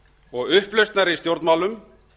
og upplausnar í stjórnmálum